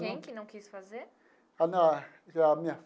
Quem que não quis fazer? a minha.